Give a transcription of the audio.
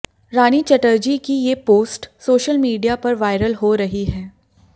रानी चटर्जी की ये post social media पर वायरल हो रही है